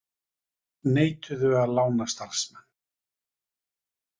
Neituðu að lána starfsmenn